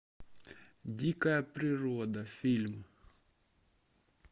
дикая природа фильм